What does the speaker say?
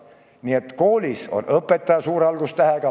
Nii et koolis on õpetaja suure algustähega.